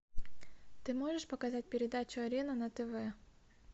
ты можешь показать передачу арена на тв